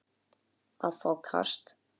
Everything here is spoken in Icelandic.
að fá kast